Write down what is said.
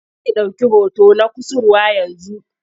Zai ɗauki hoton na kusurwa yanzu.